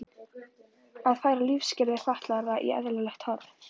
Að færa lífsskilyrði fatlaðra í eðlilegt horf.